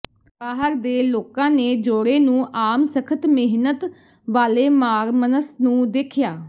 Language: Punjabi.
ਬਾਹਰ ਦੇ ਲੋਕਾਂ ਨੇ ਜੋੜੇ ਨੂੰ ਆਮ ਸਖਤ ਮਿਹਨਤ ਵਾਲੇ ਮਾਰਮਨਸ ਨੂੰ ਦੇਖਿਆ